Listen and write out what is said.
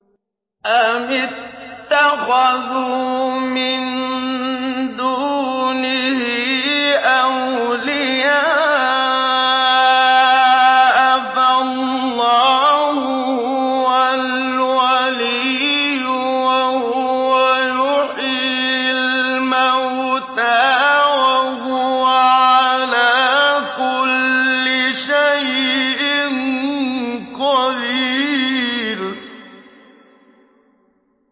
أَمِ اتَّخَذُوا مِن دُونِهِ أَوْلِيَاءَ ۖ فَاللَّهُ هُوَ الْوَلِيُّ وَهُوَ يُحْيِي الْمَوْتَىٰ وَهُوَ عَلَىٰ كُلِّ شَيْءٍ قَدِيرٌ